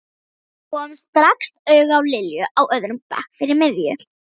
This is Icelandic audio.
Kom strax auga á Lilju á öðrum bekk fyrir miðju.